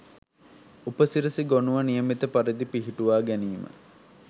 උපසිරැසි ගොණුව නියමිත පරිදි පිහිටුවා ගැනීම